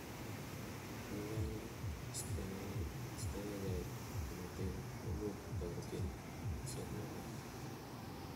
en koindo, istoengei tumotet koimuch kotoretin isob negoi